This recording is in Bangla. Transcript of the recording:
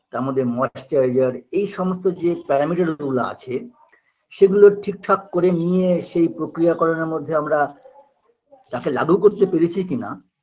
তারমধ্যে Moisturizer এই সমস্ত যে pyrometer গুলো আছে সেগুলো ঠিকঠাক করে নিয়ে সেই প্রক্রিয়াকরণের মধ্যে আমরা তাকে লাঘু করতে পেরেছি কিনা